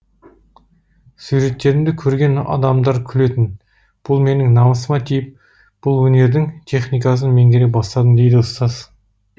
суреттерімді көрген адамдар күлетін бұл менің намысыма тиіп бұл өнердің техникасын меңгере бастадым дейді ұстаз